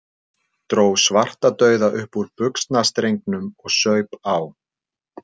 Dró Svartadauða upp úr buxnastrengnum og saup á.